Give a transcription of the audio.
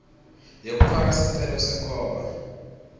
yekufaka sicelo senkhomba